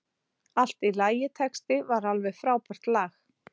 Allt í lagitexti við alveg frábært lag.